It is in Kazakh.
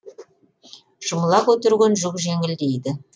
жұмыла көтерген жүк жеңіл дейді